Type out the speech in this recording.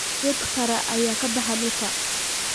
Geed qare ayaa ka baxa dhulka